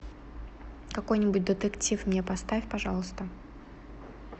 какой нибудь детектив мне поставь пожалуйста